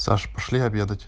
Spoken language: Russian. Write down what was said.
саш пошли обедать